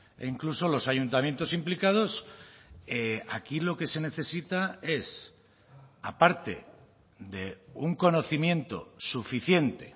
e incluso los ayuntamientos implicados aquí lo que se necesita es aparte de un conocimiento suficiente